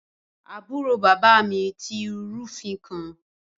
Aburo baba mi ti rufin kan